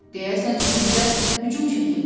Deyəsən üstümüzə hücum çəkirlər.